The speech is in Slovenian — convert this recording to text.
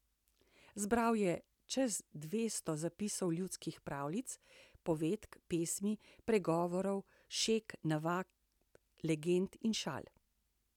Zbral je čez dvesto zapisov ljudskih pravljic, povedk, pesmi, pregovorov, šeg, navad, legend in šal.